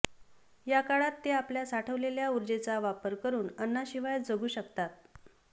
याकाळात ते आपल्या साठवलेल्या उर्जेचा वापर करून अन्नाशिवाय जगू शकतात